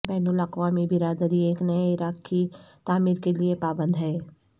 بین الاقوامی برادری ایک نئے عراق کی تعمیر کے لئے پابند ہے